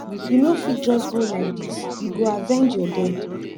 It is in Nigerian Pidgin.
you no fit just go like this you go avenge your dead